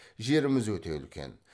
жеріміз өте үлкен